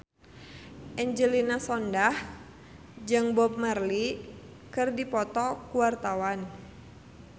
Angelina Sondakh jeung Bob Marley keur dipoto ku wartawan